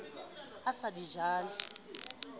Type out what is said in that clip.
a sa di ja le